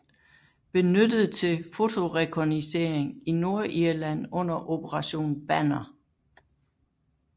Benyttet til fotorekognoscering i Nordirland under Operation Banner